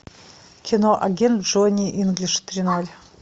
кино агент джонни инглиш три ноль